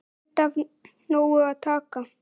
Enda af nógu að taka.